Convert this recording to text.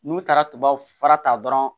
N'u taara tubabu fura ta dɔrɔn